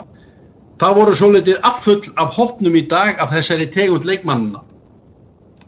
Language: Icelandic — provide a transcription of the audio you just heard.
Það voru svolítil afföll af hópnum í dag af þessari tegund leikmanna.